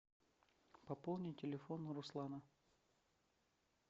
пополни телефон руслана